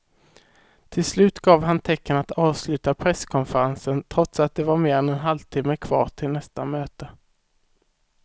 Till slut gav han tecken att avsluta presskonferensen trots att det var mer än en halvtimme kvar till nästa möte.